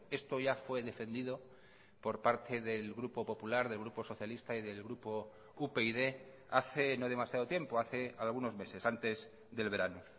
esto ya fue defendido por parte del grupo popular del grupo socialista y del grupo upyd hace no demasiado tiempo hace algunos meses antes del verano